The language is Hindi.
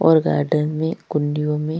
और गार्डन में कुंडियों में--